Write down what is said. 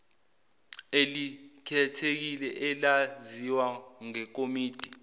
elikhethekile elaziwa ngekomidi